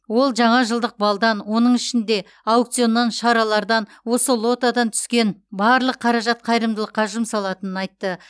ол жаңа жылдық балдан оның ішінде аукционнан шаралардан осы лотодан түскен барлық қаражат қайырымдылыққа жұмсалатынын айтты